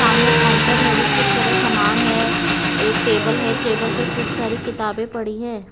सामने काउंटर में भी खूब सारा सामान है एक टेबल है टेबल पर खूब सारी किताबें पड़ी हैं।